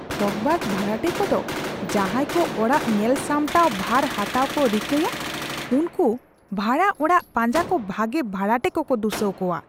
ᱴᱷᱚᱜᱽᱵᱟᱡᱽ ᱵᱷᱟᱲᱟᱴᱮ ᱠᱚᱫᱚ ᱡᱟᱦᱟᱸᱭ ᱠᱚ ᱚᱲᱟᱜ ᱧᱮᱞ ᱥᱟᱢᱴᱟᱣ ᱵᱷᱟᱨ ᱦᱟᱛᱟᱣ ᱠᱚ ᱨᱤᱠᱟᱹᱭᱼᱟ ᱩᱱᱠᱚ ᱵᱷᱟᱲᱟ ᱚᱲᱟᱜ ᱯᱟᱸᱡᱟ ᱠᱚ ᱵᱷᱟᱜᱮ ᱵᱷᱟᱲᱟᱴᱮ ᱠᱚᱠᱚ ᱫᱩᱥᱟᱹᱣ ᱠᱚᱣᱟ ᱾